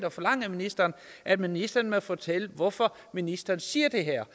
og forlange af ministeren at ministeren må fortælle hvorfor ministeren siger det her